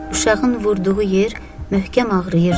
Uşağın vurduğu yer möhkəm ağrıyırdı.